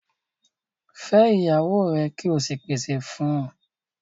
Fẹ́ iyàwọ́ rẹ̀ kí ó sì pèsè fún ọ̀!